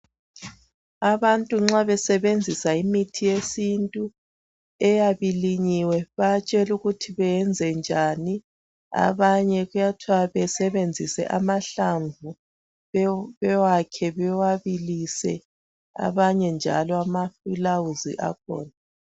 Abantu nxa besebenzisa imithi yesintu eyabe ilinyiwe bayatshelwa ukuthi benze njani abanye kuyathwa besebenzise amahlamvu bewakhe bewabilise abanye njalo amafulawuzi akhona.